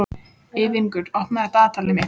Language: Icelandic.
Ylfingur, opnaðu dagatalið mitt.